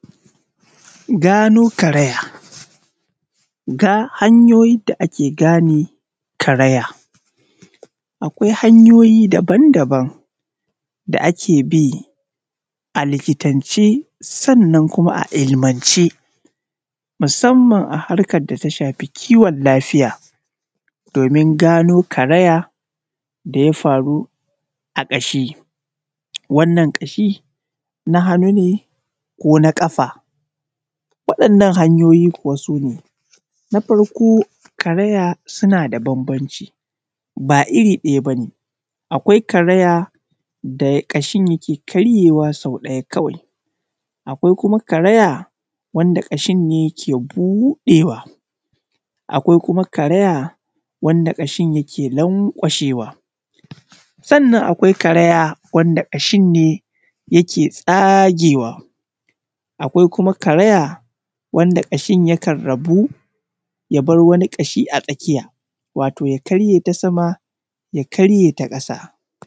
Gano karaya hanyoyin da ake gane karaya, akwai hanyoyin daban-daban da ake bi a likitance sannan kuma a ilmance musamman a harkar da ta shafi kiwon lafiya domin gano karaya da ya faru a ƙashi. Wannan ƙashi na hannu ne ko na ƙafa, waɗannan hanyoyi kuwa su ne: karaya suna da bambanci ba iri ɗaya ba ne akwai karaya da ƙashin yake karyewa sau ɗaya kawai akwai kuma karaya wanda ƙashin ne ke buɗewa. Akwai kuma karaya wanda ƙashin ke lanƙashewa. Sannan kuma akwai karaya wanda ƙashin ne ke tsagewa, akwai kuma karaya wanda ƙashin kan rabu ya bar wani ƙashin a tsakiya wato ya karye ta sama ya karye ta ƙasa